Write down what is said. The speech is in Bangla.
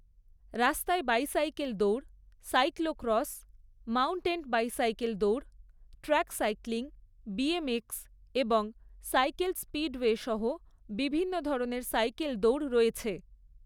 রাস্তায় বাইসাইকেল দৌড়, সাইক্লোক্রস, মাউন্টেন বাইসাইকেল দৌড়, ট্র্যাক সাইক্লিং, বিএমএক্স এবং সাইকেল স্পিডওয়ে সহ বিভিন্ন ধরনের সাইকেল দৌড় রয়েছে।